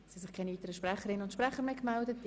Es gibt keine weiteren Wortmeldungen aus dem Rat.